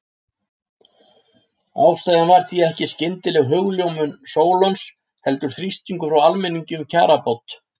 Ástæðan var því ekki skyndileg hugljómun Sólons heldur þrýstingur frá almenningi um kjarabót.